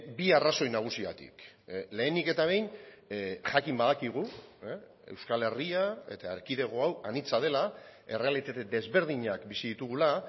bi arrazoi nagusigatik lehenik eta behin jakin badakigu euskal herria eta erkidego hau anitza dela errealitate desberdinak bizi ditugula